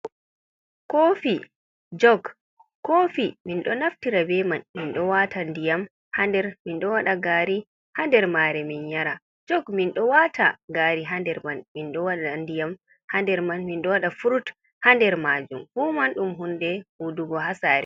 Kofi jug kofi minɗo naftira beman minɗo wata ndiyam ha nder, minɗo waɗa ngari ha nder mare min yara, jug minɗo wata ngari ha nder man, minɗo waɗa ndiyam ha nder man, minɗo waɗa fruit ha nder majum, fu man ɗum hunde hudugo ha saare.